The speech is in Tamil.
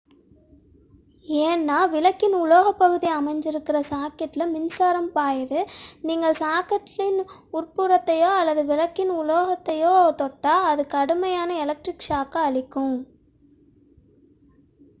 ஏனென்றால் விளக்கின் உலோகப் பகுதி அமைந்திருக்கும் சாக்கெட்டில் மின்சாரம் பாய்கிறது நீங்கள் சாக்கெட்டின் உட்புறத்தையோ அல்லது விளக்கின் உலோகத் தளத்தையோ தொட்டால் அது கடுமையான எலக்ட்ரிக் ஷாக்கை அளிக்கும்